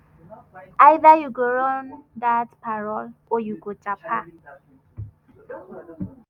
either you go run dat parole or you go japa.